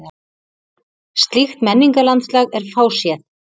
Slíkt menningarlandslag er fáséð.